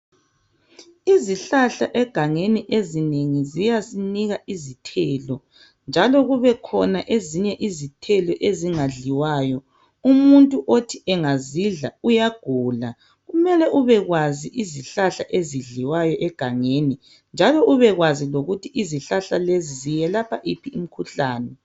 izihlahla egangeni ezinengi ziyasinika izithelo njalo kubekhona ezinye izithelo ezingadliwayo umuntu othi engazidla uyagula kumele ube kwazi izihlahla ezidliwayo egangeni njalo ubekwazi ukuthi izihlahla lezi zelapha iphi imikhuhlane